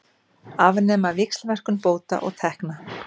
Afnema víxlverkun bóta og tekna